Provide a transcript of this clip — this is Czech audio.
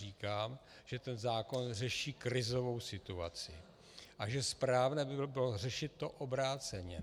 Říkám, že ten zákon řeší krizovou situaci a že správné by bylo řešit to obráceně.